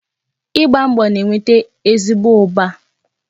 Igba mbọ na-eweta ezigbo ụba